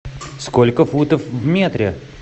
сколько футов в метре